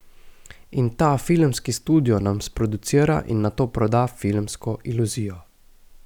In ta filmski studio nam sproducira in nato proda filmsko iluzijo.